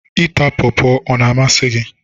Ịta Pọọpọ ọ na-amasị gị?